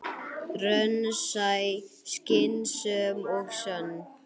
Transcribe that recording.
Raunsæ, skynsöm og sönn.